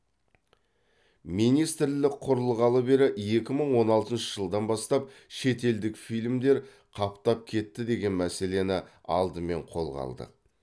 министрлік құрылғалы бері екі мың он алтыншы жылдан бастап шетелдік фильмдер қаптап кетті деген мәселені алдымен қолға алдық